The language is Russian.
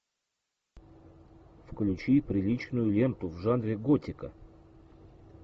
включи приличную ленту в жанре готика